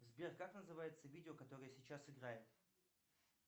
сбер как называется видео которое сейчас играет